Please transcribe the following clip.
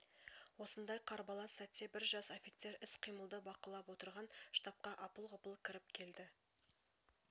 осындай қарбалас сәтте бір жас офицер іс-қимылды бақылап отырған штабқа апыл-ғұпыл кіріп келді